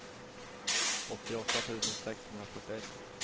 åttioåtta tusen sexhundrafyrtioett